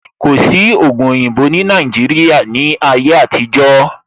Kò sí ògùn oyinbo ní Nàìjíría ní ayé àtijó